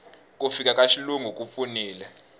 ku fika ka xilungu ku pfunile